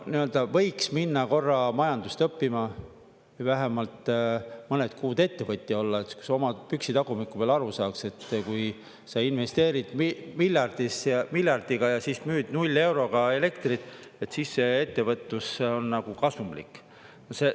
No võiks minna korra majandust õppima, vähemalt mõned kuud ettevõtja olla, et sa oma püksitagumiku peal aru saaks, et kui sa investeerid miljardiga ja müüd null euroga elektrit, siis see ettevõtlus on nagu kasumlik.